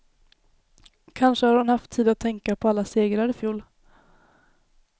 Kanske har hon haft tid att tänka på alla segrar ifjol.